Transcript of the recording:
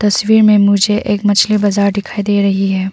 छवि में मुझे एक मछली बाजार दिखाई दे रही है।